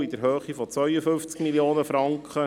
Der Schuldenabbau beträgt 52 Mio. Franken.